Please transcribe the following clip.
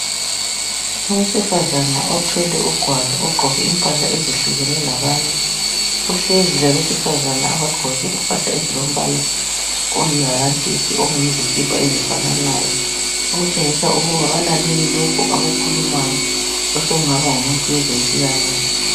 Owesifazana othwele ugwalo ogqoke impahla ezihlukene labanye, uhlezi labesifazane abagqoke impahla ezilombala olihalantshisi lezikipa ezifananayo okutshengisa ukuba balalele lokhu akukhulumayo osokungaba ngumuntu wezempilakahle.